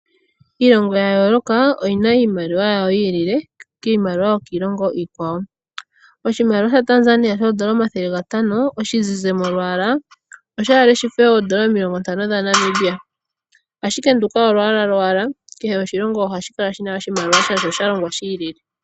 Iilongo ya yooloka oyi na iimaliwa yawo yi ilile kiimaliwa yokiilongo iikwawo. Oshimaliwa shaTanzania shoondola omathelegatano oshizize molwaala osha ale shife oondola omilongontano dhaNamibia ashike nduka olwaala owala kehe oshilongo ohashi kala shi na oshimaliwa shasho sha longwa shi ilile.